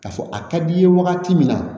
K'a fɔ a ka d'i ye wagati min na